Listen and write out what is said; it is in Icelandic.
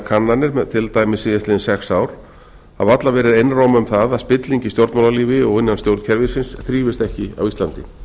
kannanir til dæmis síðastliðin sex ár hafa allar verið einróma um það að spilling í stjórnmálalífi og innan stjórnkerfisins þrífist ekki á íslandi